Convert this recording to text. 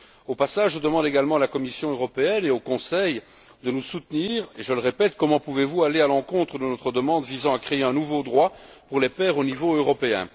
Au passage, je demande également à la Commission européenne et au Conseil de nous soutenir et je le répète, comment pouvez vous aller à l'encontre de notre demande visant à créer un nouveau droit pour les pères au niveau européen?